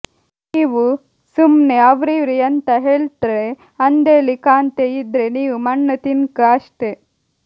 ನೀವ್ ಸುಮ್ನೆ ಅವ್ರಿವ್ರ್ ಯಂತ ಹೆಳ್ತ್ರ್ ಅಂದೆಳಿ ಕಾಂತೆ ಇದ್ರೆ ನೀವ್ ಮಣ್ಣ್ ತಿನ್ಕ್ ಅಷ್ಟೆ